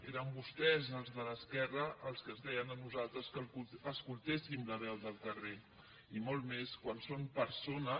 eren vostès els de l’esquerra els que ens deien a nosaltres que escoltéssim la veu del carrer i molt més quan són persones